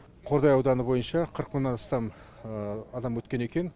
қордай ауданы бойынша қырық мыңнан астам адам өткен екен